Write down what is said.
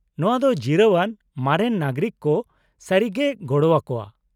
-ᱱᱚᱶᱟ ᱫᱚ ᱡᱤᱨᱟᱹᱣ ᱟᱱ ᱢᱟᱨᱮᱱ ᱱᱟᱜᱚᱨᱤᱠ ᱠᱚ ᱥᱟᱹᱨᱤᱜᱮᱭ ᱜᱚᱲᱚ ᱟᱠᱚᱣᱟ ᱾